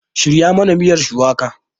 Shirya mana miyar shuwaka!